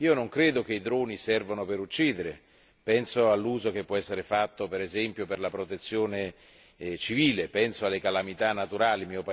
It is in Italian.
Non penso che i droni servano per uccidere penso all'uso che può esserne fatto, ad esempio, per la Protezione Civile in occasione di calamità naturali.